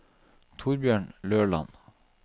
Torbjørn Løland